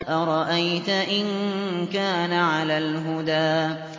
أَرَأَيْتَ إِن كَانَ عَلَى الْهُدَىٰ